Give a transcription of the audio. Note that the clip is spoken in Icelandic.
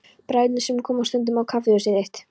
Bræðurnir sem koma stundum á kaffihúsið þitt.